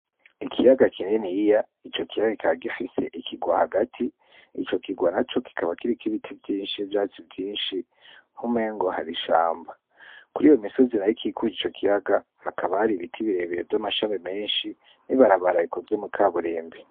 Ikiyaga kininiya ico kiyaga kikaba gifise ikigwa hagati ico kigwa naco kikiba kiriko ibiti vyinshi ivyatsi vyinshi nkumengo hari ishamba, kuriyo misozi nayo ikikuje ico kiyaga hakaba hari ibiti bire bire n' amashami menshi n' ibarabara rikozwe mu kaburimbi.